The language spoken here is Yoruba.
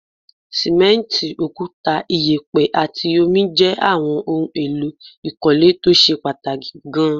Sìmẹ́ǹtì, òkúta, ìyẹ̀pẹ̀ àti omi jẹ́ àwọn ohun èlò ìkọ́lé tó ṣe pàtàkì gaan